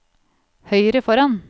høyre foran